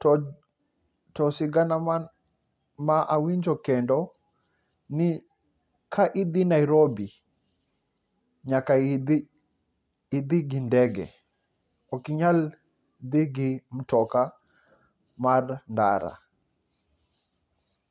to to sigana man mawinjo kendo ni ka idhii nairobi nyaka idhi idhi gi ndege ok inyal dhi gi mtoka mar ndara.